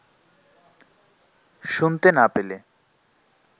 শুনতে না পেলে